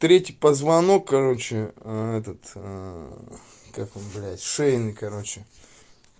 третий позвонок короче этот как он блять шейный короче